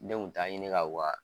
Ne kun t'a ɲini ka u ka